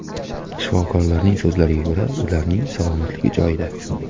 Shifokorlarning so‘zlariga ko‘ra, ularning salomatligi joyida.